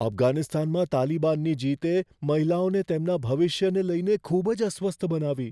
અફઘાનિસ્તાનમાં તાલિબાનની જીતે મહિલાઓને તેમના ભવિષ્યને લઈને ખૂબ જ અસ્વસ્થ બનાવી.